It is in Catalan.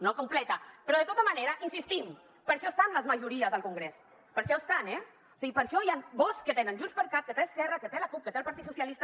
no completa però de tota manera hi insistim per això estan les majories al congrés per això estan eh o sigui per això hi ha vots que tenen junts per cat que té esquerra que té la cup que té el partit socialista